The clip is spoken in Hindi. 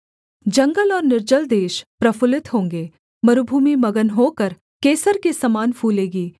जंगल और निर्जल देश प्रफुल्लित होंगे मरूभूमि मगन होकर केसर के समान फूलेगी